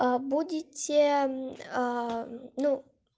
будете ну